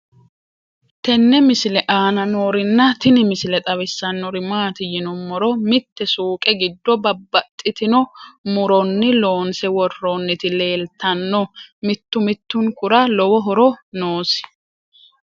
tenne misile aana noorina tini misile xawissannori maati yinummoro mitte suuqe giddo babaxxittinno muroonni loonse woroonnitti leelittanno. mittu mittunkura lowo horo noosi